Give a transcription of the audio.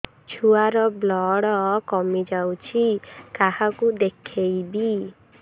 ଛୁଆ ର ବ୍ଲଡ଼ କମି ଯାଉଛି କାହାକୁ ଦେଖେଇବି